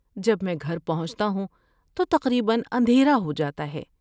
جب میں گھر پہنچتا ہوں تو تقریباً اندھیرا ہو جاتا ہے۔